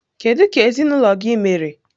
Kedu ka ezinụlọ gị mere?